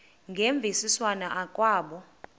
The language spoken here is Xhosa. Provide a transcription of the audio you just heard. ngemvisiswano r kwabo